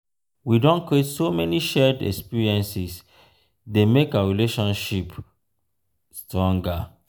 we don create so many shared experiences dey make our relationship stronger.